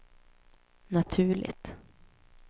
naturligt